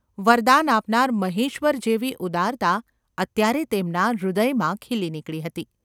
વરદાન આપનાર મહેશ્વર જેવી ઉદારતા અત્યારે તેમના હૃદયમાં ખીલી નીકળી હતી.